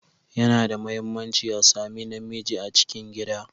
Yana da mahimmanci a sami na miji a cikin gida.